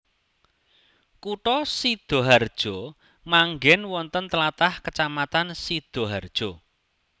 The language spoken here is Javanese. Kutha Sidaharja manggèn wonten tlatah Kacamatan Sidaharja